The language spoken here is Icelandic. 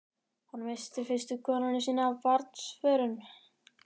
Hann missti fyrstu konuna sína af barnsförum.